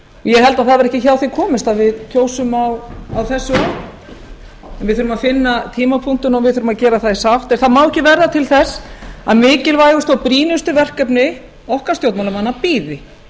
ég held að það verði ekki hjá því komist að við kjósum á þessu ári við þurfum að finna tímapunktinn og við þurfum að gera það í sátt en það má ekki verða til þess að mikilvægustu og brýnustu verkefni okkar stjórnmálamanna bíði